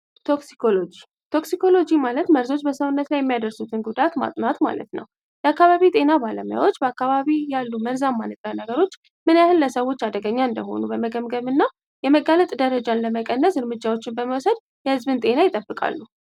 ቶክሲኮሎጂ ማለት መርዞች በሰውነት ላይ የሚያደርሱትን ጉዳት ማጥኗት ማለት ነው የአካባቢ ጤና ባለሙያዎች በአካባቢ ያሉ መርዛማ ንጥረ ነገሮች ምን ያህን ለሰዎች አደገኛ እንደሆኑ በመገምገም እና የመጋለጥ ደረጃን ለመቀነስ እርምጃዎችን በመወሰድ የሕዝብን ጤና ይጠብቃሉ።